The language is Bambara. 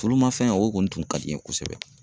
Tulu ma fɛn, o kɔni tun ka di n ye kosɛbɛ.